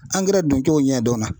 doncogo ɲɛ dɔnna.